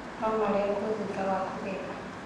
Nũmarengwo thutha wa kũgetha.